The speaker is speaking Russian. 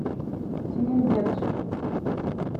сенендедж